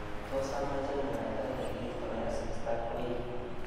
Tos amache mwaita nekertoi asista koi?